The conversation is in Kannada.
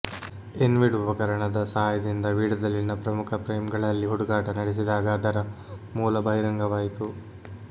ಇನ್ವಿಡ್ ಉಪಕರಣದ ಸಹಾಯದಿಂದ ವೀಡಿಯೊದಲ್ಲಿನ ಪ್ರಮುಖ ಫ್ರೇಮ್ಗಳಲ್ಲಿ ಹುಡುಕಾಟ ನಡೆಸಿದಾಗ ಅದರ ಮೂಲ ಬಹಿರಂಗವಾಯಿತು